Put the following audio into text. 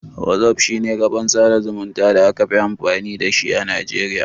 Whatsapp shi ne kafan sada zumunta da aka fi amfani da a najeriya.